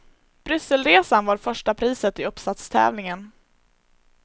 Brysselresan var första priset i uppsatstävlingen.